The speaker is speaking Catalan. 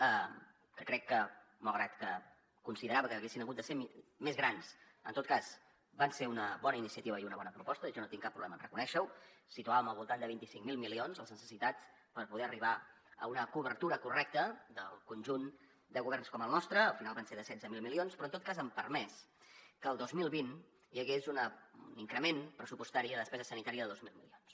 que crec que malgrat que considerava que haguessin hagut de ser més grans en tot cas van ser una bona iniciativa i una bona proposta i jo no tinc cap problema en reconèixer ho situàvem al voltant de vint cinc mil milions les necessitats per poder arribar a una cobertura correcta del conjunt de governs com el nostre al final va ser de setze mil milions però en tot cas han permès que el dos mil vint hi hagués un increment pressupostari de despesa sanitària de dos mil milions